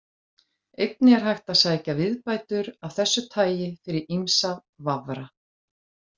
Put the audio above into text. Einnig er hægt að sækja viðbætur af þessu tagi fyrir ýmsa vafra.